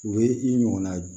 U bɛ i ɲɔgɔnna